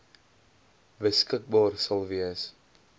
beskikbaar sal wees